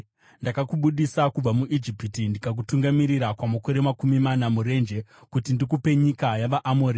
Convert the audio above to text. “Ndakakubudisa kubva muIjipiti, ndikakutungamirira kwamakore makumi mana murenje, kuti ndikupe nyika yavaAmori.